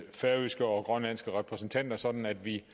færøske og grønlandske repræsentanter sådan at vi